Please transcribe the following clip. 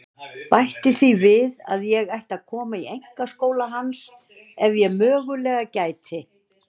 Bætti því við að ég ætti að koma í einkaskóla hans ef ég mögulega gæti.